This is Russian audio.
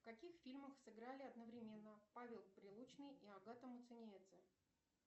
в каких фильмах сыграли одновременно павел прилучный и агата муцениеце